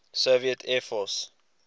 soviet air force